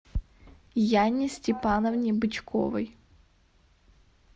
яне степановне бычковой